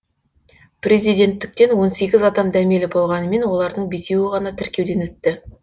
президенттіктен он сегіз адам дәмелі болғанымен олардың бесеуі ғана тіркеуден өтті